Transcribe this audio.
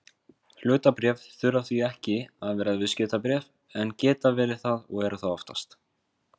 Hlutabréf þurfa því ekki að vera viðskiptabréf en geta verið það og eru það oftast.